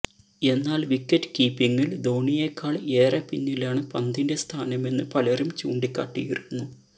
എന്നാല് വിക്കറ്റ് കീപ്പിങില് ധോണിയേക്കാള് ഏറെ പിന്നിലാണ് പന്തിന്റെ സ്ഥാനമെന്ന് പലരും ചൂണ്ടിക്കാട്ടിയിരുന്നു